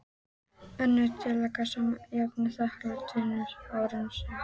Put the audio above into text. Önnur tillaga sama efnis samþykkt tveimur árum síðar.